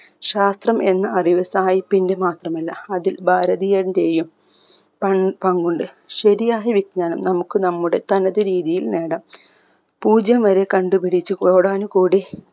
ശാസ്ത്രം എന്ന അറിവ് സായിപ്പിന്റെ മാത്രമല്ല അതിൽ ഭാരതീയന്റെയും പൻ പങ്കുണ്ട് ശരിയായ വിജ്ഞാനം നമുക്ക് നമ്മുടെ തനത് രീതിയിൽ നേടാം പൂജ്യം വരെ കണ്ട്പിടിച്ച് കോടാനുകോടി